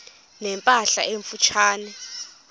ne mpahla emfutshane